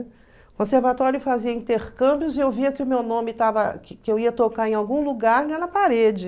O conservatório fazia intercâmbios e eu via que o meu nome estava... que que eu ia tocar em algum lugar na parede.